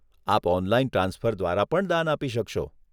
આપ online transfer દ્વારા પણ દાન આપી શકશો.